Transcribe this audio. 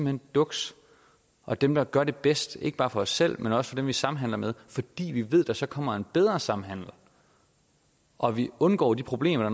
hen duks og dem der gør det bedst ikke bare for os selv men også for dem vi samhandler med fordi vi ved at der så kommer en bedre samhandel og vi undgår de problemer